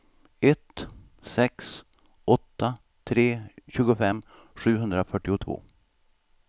ett sex åtta tre tjugofem sjuhundrafyrtiotvå